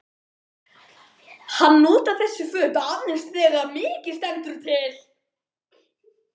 Hann notar þessi föt aðeins þegar mikið stendur til.